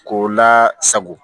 K'o la sago